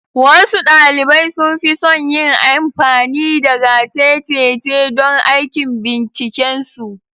Wasu ɗalibai sun fi son yin amfani da gatetete don aikin binciken su.